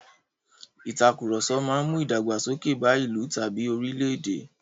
Ìtàkurọ̀sọ máa mú ìdàgbàsókè bá ìlú tàbí orílè-èdè.